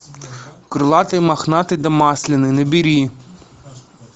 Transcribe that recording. крылатый мохнатый да масляный набери